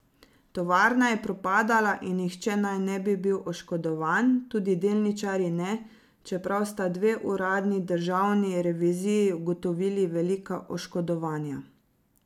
Tovarna je propadala in nihče naj ne bi bil oškodovan, tudi delničarji ne, čeprav sta dve uradni državni reviziji ugotovili velika oškodovanja.